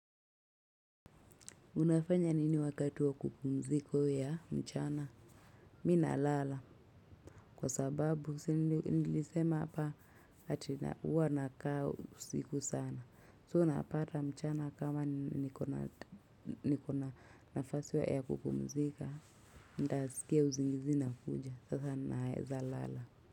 Unafanya nini wakati wa kupumziko ya mchana? Mi nalala. Kwa sababu, nilisema hapa hati uwa naka usiku sana. So, napata mchana kama nikona nafasi ya kupumzika. Ndazikia uzingizi ina kuja. Sasa naeza lala.